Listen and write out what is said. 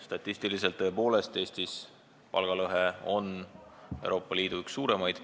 Statistiliselt on palgalõhe Eestis tõepoolest Euroopa Liidu üks suuremaid.